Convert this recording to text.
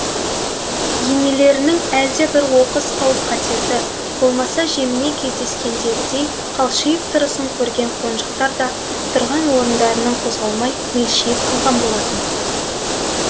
енелерінің әлде бір оқыс қауіп қатерді болмаса жеміне кездескендегідей қалшиып тұрысын көрген қонжықтар да тұрған орындарынан қозғалмай мелшиіп қалған болатын